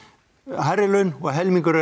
hærri laun og helmingur